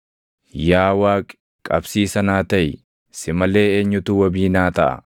“Yaa Waaqi, qabsiisa naa taʼi; si malee eenyutu wabii naa taʼa?